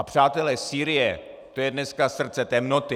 A přátelé, Sýrie, to je dneska srdce temnoty.